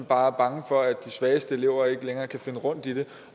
bare bange for at de svageste elever ikke længere kan finde rundt i det